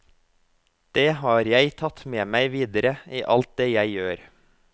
Det har jeg tatt med meg videre i alt det jeg gjør.